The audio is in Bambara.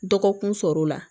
Dɔgɔkun sɔrɔ la